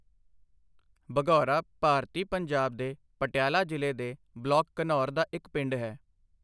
ਬਘੌਰਾ ਭਾਰਤੀ ਪੰਜਾਬ ਦੇ ਪਟਿਆਲਾ ਜ਼ਿਲ੍ਹੇ ਦੇ ਬਲਾਕ ਘਨੌਰ ਦਾ ਇੱਕ ਪਿੰਡ ਹੈ।